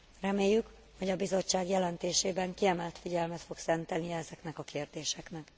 Reméljük, hogy a Bizottság jelentésében kiemelt figyelmet fog szentelni ezeknek a kérdéseknek.